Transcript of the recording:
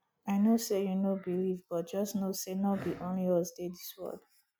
i no say you no believe but just know say no be only us dey dis world